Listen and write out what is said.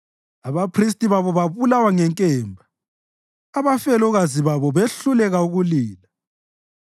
abaphristi babo babulawa ngenkemba, abafelokazi babo behluleka ukulila.